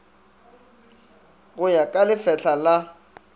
go ya ka lefetla la